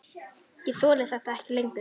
Ég þoli þetta ekki lengur.